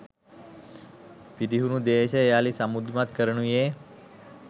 පිරිහුණු දේශය යළි සමෘද්ධිමත් කරනුයේ